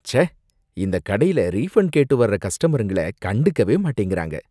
ச்சே! இந்தக் கடையில ரீஃபண்ட் கேட்டு வர்ற கஸ்டமருங்கள கண்டுக்கவே மாட்டேங்கறாங்க.